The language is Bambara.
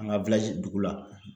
An ka dugu la.